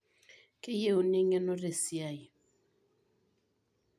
Keyieuni eng'eno tesiai.